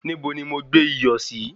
Níbo ni mo gbé iyọ̀ sí?